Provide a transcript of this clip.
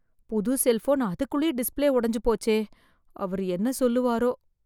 புது செல்போன் அதுக்குள்ளே டிஸ்ப்ளே உடைஞ்சு போச்சே அவர் என்ன சொல்லுவாரோ?